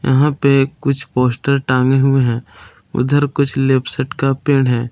यहां पे कुछ पोस्टर टांगे हुए हैं उधर कुछ लिपसेट का पेड़ है।